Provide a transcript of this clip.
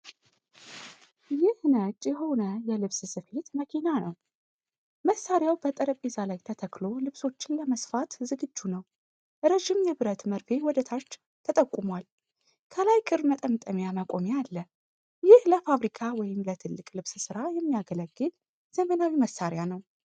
ይህ ነጭ የሆነ የልብስ ስፌት መኪና ነው። መሳሪያው በጠረጴዛ ላይ ተተክሎ ልብሶችን ለመስፋት ዝግጁ ነው። ረዥም የብረት መርፌ ወደ ታች ተጠቁሟል። ከላይ ክር መጠምጠሚያ መቆሚያ አለ። ይህ ለፋብሪካ ወይም ለትልቅ ልብስ ሥራ የሚያገለግል ዘመናዊ መሣሪያ ነው።